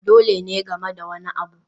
Dole ne game da wani abu